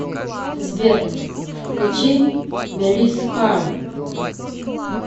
сбер включи мелис кар